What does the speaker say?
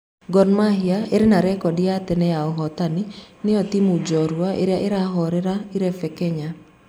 Gor Mahia ĩrĩa ĩna rekodi ya tene ya ũhotani, nĩyo timũ jorua ĩrĩa ĩrahorĩro irebe Kenya.